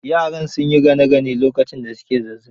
Yaran sun yi gane gane lokacin da su ke zazzaɓi